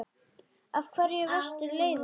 Af hverju varstu leiður?